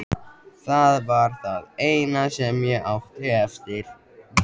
Það var það eina sem ég átti eftir.